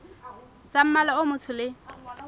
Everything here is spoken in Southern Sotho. tsa mmala o motsho le